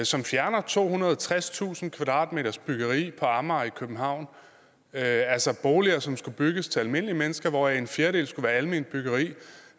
som fjerner tohundrede og tredstusind kvadratmeters byggeri på amager i københavn altså boliger som skal bygges til almindelige mennesker hvoraf en fjerdedel skulle være alment byggeri